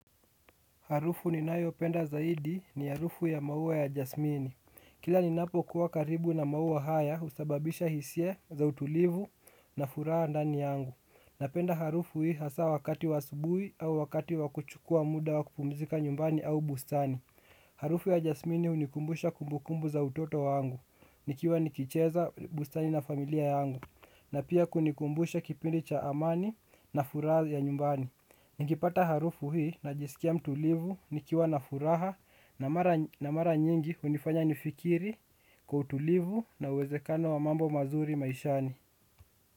Harufu ninayo penda zaidi ni harufu ya maua ya jasmini. Kila ni napo kuwa karibu na maua haya usababisha hisia za utulivu na furaha andani yangu. Napenda harufu hii hasa wakati wa asubui au wakati wa kuchukua muda wa kupumizika nyumbani au bustani. Harufu ya jasmini unikumbusha kumbukumbu za utoto wangu. Nikiwa nikicheza bustani na familia yangu. Na pia kunikumbusha kipindi cha amani na furaha ya nyumbani. Nikipata harufu hii najisikia mtulivu nikiwa na furaha na mara nyingi unifanya nifikiri kwa utulivu na uwezekano wa mambo mazuri maishani.